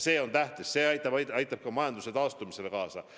See on tähtis, see aitab ka majanduse taastumisele kaasa.